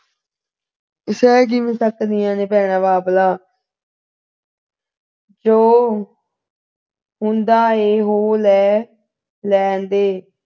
ਸਹ ਕਿਵੇਂ ਸਕਦੀਆਂ ਨੇ ਭੈਣਾਂ ਬਾਬਲਾ ਜੋ ਹੁੰਦਾ ਹੈ ਹੋ ਲੈਣ ਦੇ